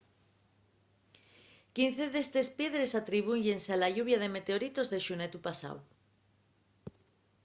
quince d’estes piedres atribúyense a la lluvia de meteoritos de xunetu pasáu